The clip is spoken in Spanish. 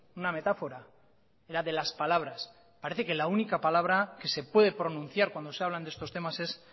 una metáfora era de las palabras parece que la única palabra que se puede pronunciar cuando se hablan de estos temas es